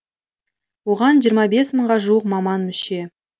оған жиырма бес мыңға жуық маман мүше